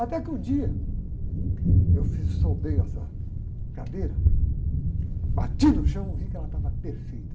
Até que um dia eu fiz, soltei essa cadeira, bati no chão e vi que ela estava perfeita.